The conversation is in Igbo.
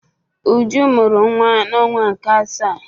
Uju mụrụ nwa n'ọnwa nke asaa.